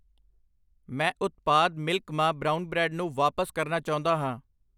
ਮੈਂ ਉਤਪਾਦ ਮਿਲਕ ਮਾ ਬਰਾਉਨ ਬੈ੍ਡ ਨੂੰ ਵਾਪਸ ਕਰਨਾ ਚਾਹੁੰਦਾ ਹਾਂ